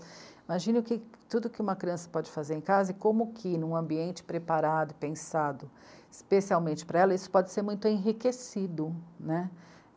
Imagine o que, tudo que uma criança pode fazer em casa e como que num ambiente preparado, pensado especialmente para ela, isso pode ser muito enriquecido, né.